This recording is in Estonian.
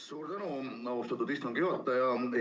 Suur tänu, austatud istungi juhataja!